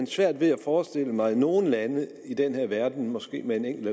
svært ved at forestille mig nogen lande i den her verden måske med en enkelt